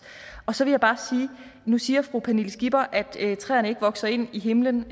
nu siger fru pernille skipper at træerne ikke vokser ind i himlen